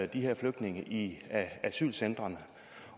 de her flygtninge i asylcentrene